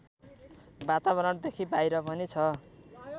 वातावरणदेखि बाहिर पनि छ